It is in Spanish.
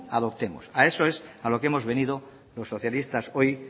adoptemos a eso es a lo que hemos venido los socialistas hoy